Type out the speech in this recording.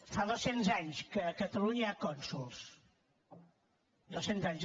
fa dos cents anys que a catalunya hi ha cònsols dos cents anys